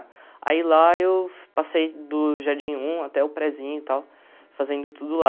Aí lá eu passei do jardim um até o prézinho e tal, fazendo tudo lá.